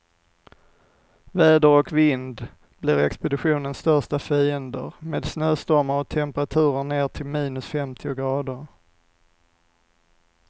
Väder och vind blir expeditionens största fiender, med snöstormar och temperaturer ner till minus femtio grader.